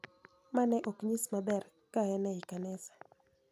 Ma ne ok nyis maber, ka en ei kanisa.